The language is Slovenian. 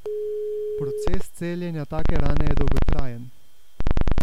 Proces celjenja take rane je dolgotrajen.